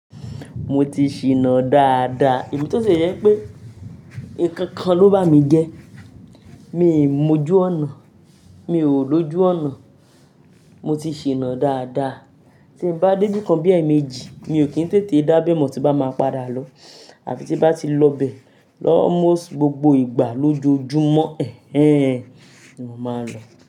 Mo ti ṣìnà dáadáa, emi to tie je wipé nǹkan kan ló bá mi jẹ́. Mi n mójú ọ̀nà, mi ò lójú ọ̀nà, mo ti ṣìnà dáadáa. Tí n bá dé ibi kan bí i èèmejì, mi ò kí n tètè dá abẹ́ mọ́ tí n bá máa padà lọ àfi tí n bá ti lọ bẹ̀ Ni almost gbogbo ìgbà lójoojúmọ́ ẹ̀hen ni mo máa lọ.